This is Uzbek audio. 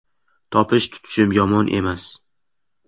Topish-tutishim yomon emas.